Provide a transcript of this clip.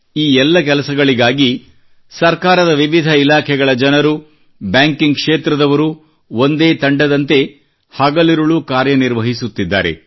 ಈ ಎಲ್ಲ ಕೆಲಸಗಳಿಗಾಗಿ ಸರ್ಕಾರದ ವಿವಿಧ ಇಲಾಖೆಗಳ ಜನರು ಬ್ಯಾಂಕಿಂಗ್ ಕ್ಷೇತ್ರದವರು ಒಂದೇ ತಂಡದಂತೆ ಹಗಲಿರುಳು ಕಾರ್ಯನಿರ್ವಹಿಸುತ್ತಿದ್ದಾರೆ